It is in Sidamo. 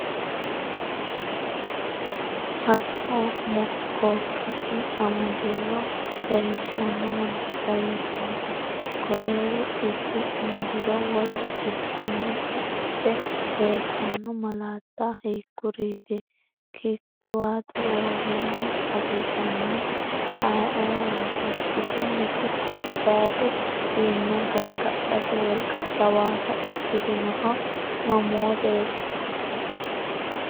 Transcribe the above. Haxo-mokkookkisi amadiro leellishanno malaatta hiittoote? Koleeru dhibbi amadiro wolu dhibbinni baxxite leellitanno malaatta hiikkuriiti? Kittiwaatu roorinni hasiisannohu ayeooraati? Bisunniti gobbaydi diinna gargadhate wolqa jawaata ikkitannohu mamooteeti?